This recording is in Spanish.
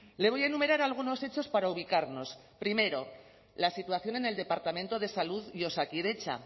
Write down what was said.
le voy a enumerar algunos hechos para ubicarnos primero la situación en el departamento de salud y osakidetza